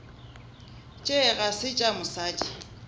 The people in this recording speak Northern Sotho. tše ga se tša mosadi